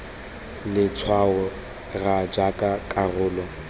le letshwao r jaaka karolo